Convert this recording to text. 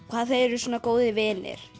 hvað þau eru svona góðir vinir